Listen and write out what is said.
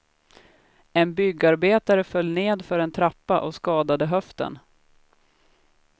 En byggarbetare föll ned för en trappa och skadade höften.